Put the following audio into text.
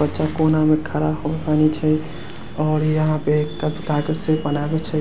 बच्चा कोना मे खड़ा नीचे ओर यहां पे कागज से बनाबय छै